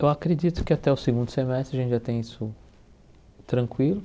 Eu acredito que até o segundo semestre a gente já tem isso tranquilo.